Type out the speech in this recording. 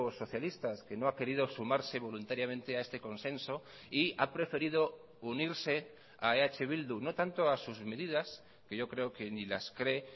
socialistas que no ha querido sumarse voluntariamente a este consenso y a preferido unirse a eh bildu no tanto a sus medidas que yo creo que ni las cree